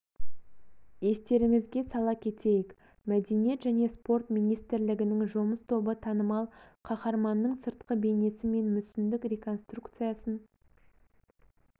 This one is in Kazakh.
естеріңізге сала кетейік мәдениет және спорт министрлігінің жұмыс тобы танымал қаһарманның сыртқы бейнесі мен мүсіндік реконструкциясын